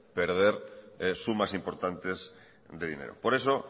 perder sumas importantes de dinero por eso